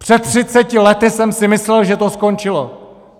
Před třiceti lety jsem si myslel, že to skončilo.